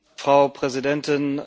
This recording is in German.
Frau Präsidentin!